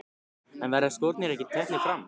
En verða skórnir ekki teknir fram?